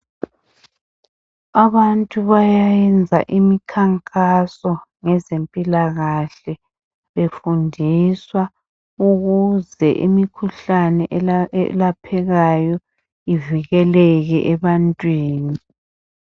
Abantu bayayenza umkhankaso ngezempilakahle befundiswa ukuze imikhuhlane elaphekayo ivikeleke ebantwini